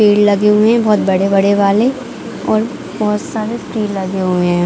पेड़ लगे हुए है बहोत बड़े-बड़े वाले और बहोत सारे पेड़ लगे हुए है।